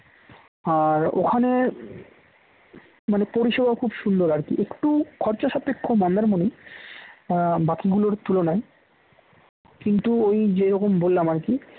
আর ওখানে মানে পরিষেবা খুব সুন্দর আর কি একটু খরচা সাপেক্ষ মন্দারমনি বাকিগুলোর তুলনায় কিন্তু ওই যেরকম বললাম আর কি